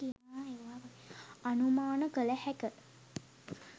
අනුමාන කළ හැක.